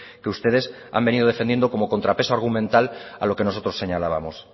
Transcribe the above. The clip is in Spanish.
que ustedes han venido defendiendo como contrapeso argumental a lo que nosotros señalábamos